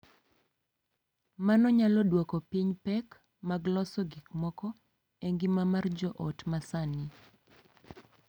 Mano nyalo dwoko piny pek mag loso gik moko e ngima mar joot ma sani .